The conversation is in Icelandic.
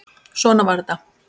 Svona var þetta.